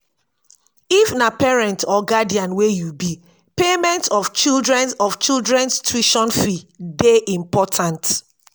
if na parent or guidian wey you be payment of children's of children's tution fee de important